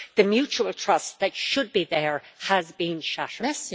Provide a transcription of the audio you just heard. The mutual trust that should be there has been shattered.